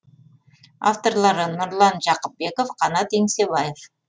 авторлары нұрлан жақыпбеков қанат еңсебаев